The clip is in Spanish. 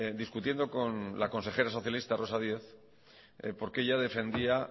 discutiendo con la consejera socialista rosa díez porque ella defendía